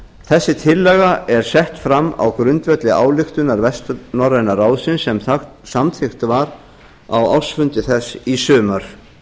þessi tillaga þessi er sett fram á grundvelli ályktunar vestnorræna ráðsins sem samþykkt var á ársfundi þess í sumar